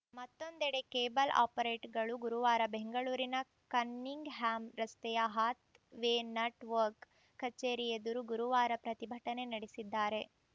ಮತ್ತೊಂದೆಡೆ ಕೇಬಲ್‌ ಆಪರೇಟರ್‌ಗಳು ಗುರುವಾರ ಬೆಂಗಳೂರಿನ ಕನ್ನಿಂಗ್‌ ಹ್ಯಾಮ್‌ ರಸ್ತೆಯ ಹಾತ್‌ ವೇ ನೆಟ್‌ ವರ್ಕ್ ಕಚೇರಿ ಎದುರು ಗುರುವಾರ ಪ್ರತಿಭಟನೆ ನಡೆಸಿದ್ದಾರೆ